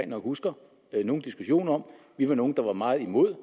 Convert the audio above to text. nok husker nogle diskussioner om vi var nogle der var meget imod